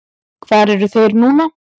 Hvar eru þeir núna?